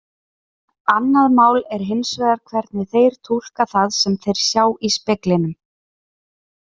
Annað mál er hins vegar hvernig þeir túlka það sem þeir sjá í speglinum.